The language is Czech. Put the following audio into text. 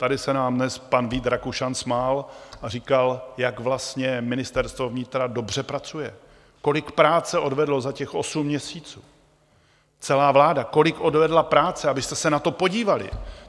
Tady se nám dnes pan Vít Rakušan smál a říkal, jak vlastně Ministerstvo vnitra dobře pracuje, kolik práce odvedlo za těch osm měsíců, celá vláda kolik odvedla práce, abyste se na to podívali.